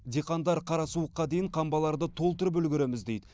диқандар қара суыққа дейін қамбаларды толтырып үлгереміз дейді